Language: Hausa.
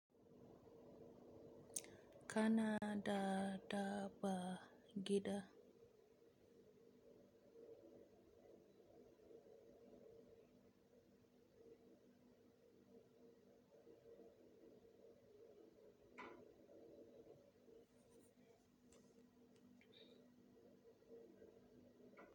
Kana da da ba gida.